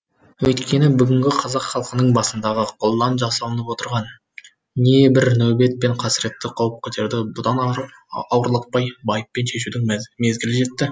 өйткені бүгінгі қазақ халқының басындағы қолдан жасалынып отырған не бір нәубет пен қасіретті қауыптерді бұдан ары ауырлатпай байыппен шешудің мезгілі жетті